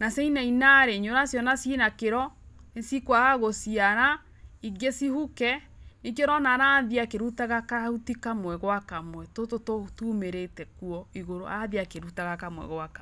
na ciainaina rĩ na nĩ ũraciona ci na kĩro, nĩcikwaga gũciara, ingĩ cihuke nĩkĩo ũrona arathiĩ akĩrutaga kahuti kamwe gwa kamwe tũtũ tumĩrĩte kuo igũrũ, arathiĩ akirutaga kamwe gwa kamwe.